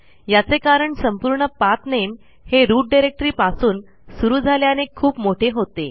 याचे कारण संपूर्ण पाठ नामे हे रूट डायरेक्टरी पासून सुरू झाल्याने खूप मोठे होते